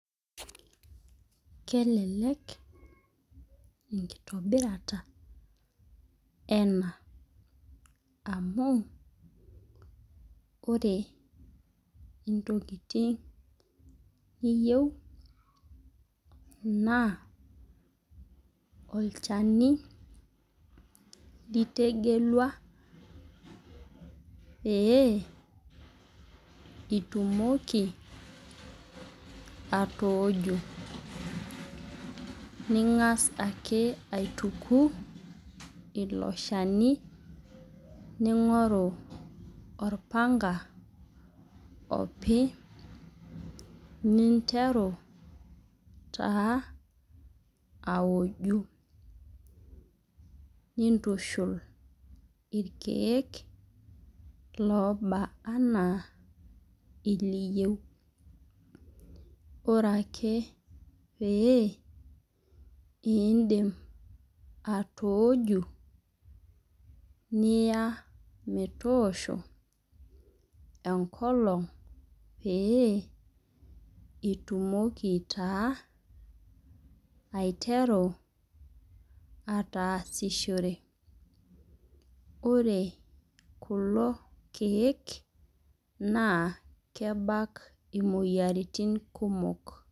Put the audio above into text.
Kelelek enkitobirata ena amu ore ntokitin niyieu naa olchani litegelua pee itumoki atooju , ningas ake aituku iloshani , ningoru olchani opi , ninteru taa aoju , nintushul irkiek lobaa anaa iliyieu . Ore ake pidim atooshu niya metoosho enkolong pee itumoki taa aiteru aatasishore . Ore kulo kiek naa kebak imoyiritin kumok.